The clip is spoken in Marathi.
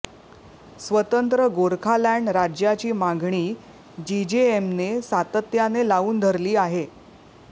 स्वतंत्र गोरखालॅंड राज्याची मागणी जीजेएमने सातत्याने लावून धरली आहे